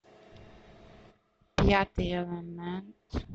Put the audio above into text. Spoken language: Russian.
пятый элемент